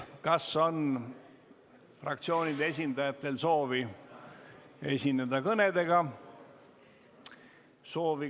Kas fraktsioonide esindajatel on soovi esineda kõnedega?